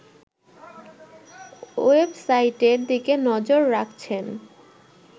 ওয়েবসাইটের দিকে নজর রাখছেন